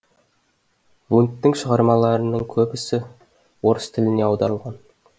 вундттың шығармаларының көбі орыс тіліне аударылған